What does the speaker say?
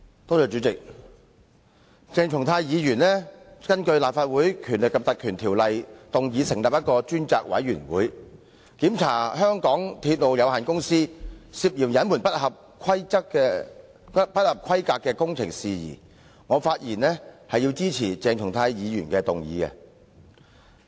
代理主席，鄭松泰議員根據《立法會條例》動議成立專責委員會，調查香港鐵路有限公司涉嫌隱瞞不合規格工程的事宜，我發言支持鄭松泰議員的議案。